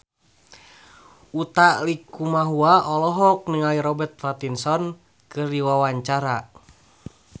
Utha Likumahua olohok ningali Robert Pattinson keur diwawancara